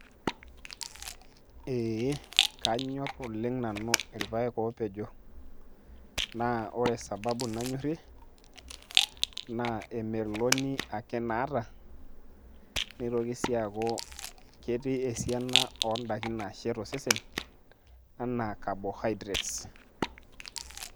Ee kanyor oleng' nanu irpaek opejo. Naa ore sababu nanyorrie, na emeloni ake naata. Netoki si aku ketii esiana odaiki nashet osesen, enaa carbohydrates.